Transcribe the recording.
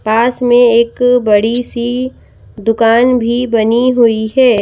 पास में एक बड़ी सी दुकान भी बनी हुई है।